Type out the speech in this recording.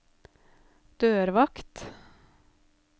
dørvakt